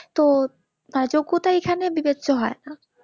তো যোগ্যতা এখানে বিবেচ্য হই না